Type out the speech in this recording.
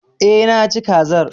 Eh, Naci kazar